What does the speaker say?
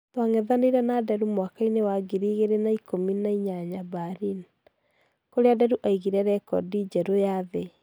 Twang'ethaneire na Nderu mwaka-ĩnĩ wa ngĩri igĩri na ikũmi na ĩnyanya Berlin, kũrĩa Nderu aigore rekodi njerũ ya thĩ.